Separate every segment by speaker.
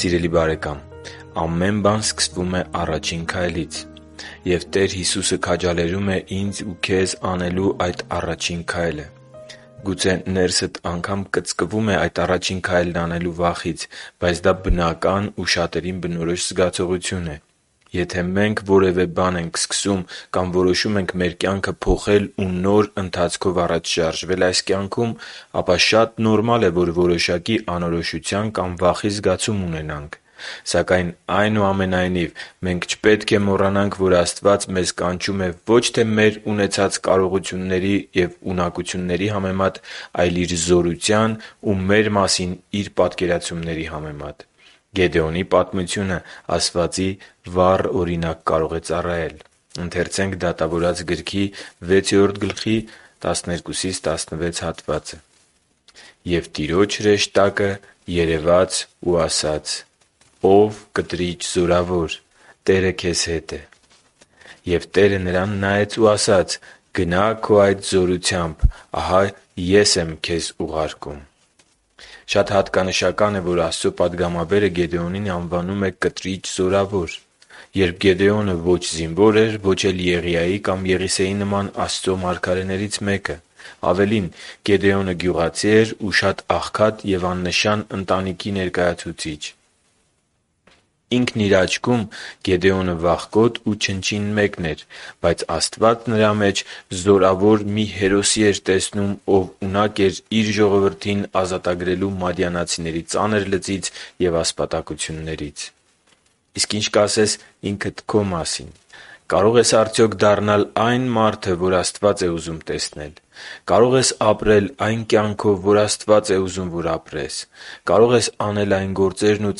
Speaker 1: Սիրելի՛ բարեկամ, ամեն բան սկսվում է առաջին քայլից… Եվ Տեր Հիսուսը քաջալերում է ինձ ու քեզ անելու այդ առաջին քայլը։ Գուցե ներսդ կծկվում է այդ առաջին քայլն անելու վախից․․․ Բայց դա բնական ու շատերին բնորոշ զգացողություն է։ Եթե մենք որևէ նոր բան ենք սկսում կամ որոշում ենք մեր կյանքը փոխել ու նոր ընթացքով առաջ շարժվել այս կյանքում, ապա շատ նորմալ է, որ որոշակի անորոշության կամ վախի զգացում ունենանք։ Սակայն, այնուամենայնիվ, մենք չպետք է մոռանանք, որ Աստված մեզ կանչում է ոչ թե մեր ունեցած կարողությունների ու ունակությունների համեմատ, այլ Իր զորության ու մեր մասին Իր պատկերացման համեմատ։ Գեդեոնի պատմությունը ասվածի վառ օրինակ կարող է ծառայել։ «Եվ Տիրոջ հրեշտակը նրան երևաց ու ասաց. «Ո՜վ կտրիճ զորավոր, Տերը քեզ հետ է»։ …Եվ Տերը նրան նայեց ու ասաց. «Գնա՛ քո այդ զորությամբ… Ահա Ես եմ քեզ ուղարկում»… (Դատավորաց 6.12-16)։ Շատ հատկանշական է, որ Աստծո պատգամաբերը Գեդեոնին անվանում է «կտրիճ զորավոր», երբ Գեդեոնը ո՛չ զինվոր էր, ո՛չ էլ Եղիայի կամ Եղիսեի նման Աստծո մարգարեներից մեկը… Ավելին, Գեդեոնը գյուղացի էր ու շատ աղքատ ու աննշան ընտանիքի ներկայացուցիչ մեկը։ Ինքն իր աչքում Գեդեոնը «վախկոտ» ու «չնչին» մեկն էր, բայց Աստված նրա մեջ զորավոր մի հերոսի էր տեսնում, ով ունակ էր Իր ժողովրդին ազատագրելու մադիանացիների ծանր լծից ու ասպատակություններից։ Իսկ ի՞նչ կասես ինքդ քո մասին։ Կարո՞ղ ես արդյոք դառնալ այն մարդը, որ Աստված է ուզում տեսնել։ Կարո՞ղ ես ապրել այն կյանքով, որ Աստված է ուզում, որ ապրես։ Կարո՞ղ ես անել այն գործերն ու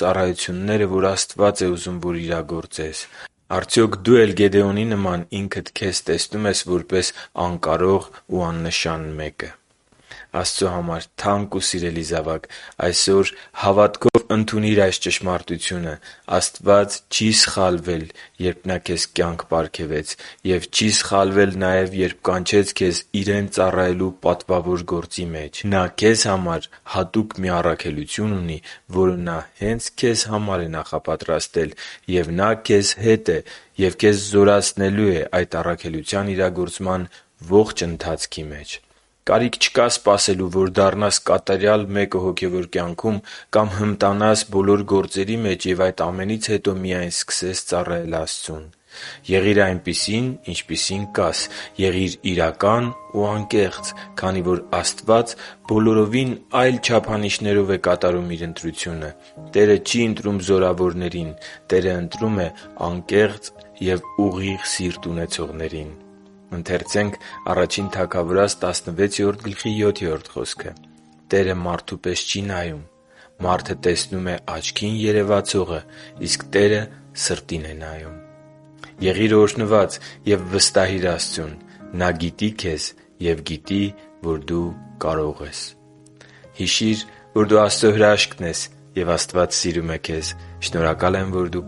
Speaker 1: ծառայությունները, որ Աստված է ուզում, որ իրագործես։ Արդյոք դո՞ւ էլ Գեդեոնի նման ինքդ քեզ տեսնում ես որպես անկարող ու աննշան մեկը․․․ Աստծո համար թանկ ու սիրելի՛ զավակ, այսօր հավատքով ընդունի՛ր այս ճշմարտությունը. Աստված չի՛ սխալվել, երբ Նա քե՛զ կյանք պարգևեց, և չի՛ սխալվել նաև, երբ կանչեց քեզ Իրեն ծառայելու պատվավոր գործի մեջ։ Նա քեզ համար հատուկ մի առաքելություն ունի, որը Նա հե՛նց քեզ համար է նախապատրաստել, և Նա քեզ հե՛տ է ու քեզ զորացնելու է այդ առաքելության իրագործման ողջ ընթացքի մեջ։ Կարիք չկա սպասելու, որ դառնաս կատարյալ մեկը հոգևոր կյանքում կամ հմտանաս բոլոր գործերի մեջ և այդ ամենից հետո միայն սկսես ծառայել Աստծուն։ Եղի՛ր այնպիսին ինչպիսին կաս։ Եղի՛ր իրական ու անկեղծ, քանի որ Աստված բոլորովին այլ չափանիշներով է կատարում Իր ընտրությունը։ Տերը չի ընտրում զորավորներին։ Տերը ընտրում է անկեղծ և ուղիղ սիրտ ունեցողներին․․․ «…Տերը մարդու պես չի նայում. մարդը տեսնում է աչքին երևացողը, իսկ Տերը սրտին է նայում» (Ա Թագավորաց 16.7): Եղի՛ր օրհնված և վստահի՛ր Աստծուն։ Նա գիտի քեզ և գիտի, որ դու կարող ես․․․։ Հիշի՛ր, որ դու Աստծո հրաշքն ես, և Աստված սիրում է քեզ։ Շնորհակալ եմ, որ դու